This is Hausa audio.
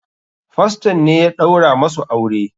Faston ne ya ɗaura musu aure.